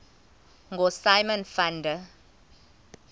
ngosimon van der